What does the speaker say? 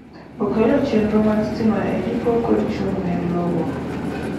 okelo chenro mag stima e ndiko kod chung' ne lowo